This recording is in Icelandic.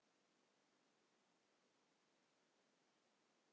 Kristján Már: Einhver glóra í því að byggja í Búðardal?